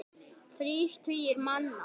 Þrír tugir manna.